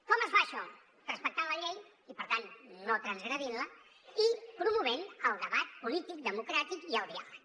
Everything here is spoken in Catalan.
com es fa això respectant la llei i per tant no transgredint la i promovent el debat polític democràtic i el diàleg